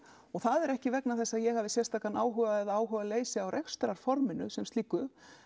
það er ekki vegna þess að ég hafi áhuga eða áhugaleysi á rekstrarforminu sem slíku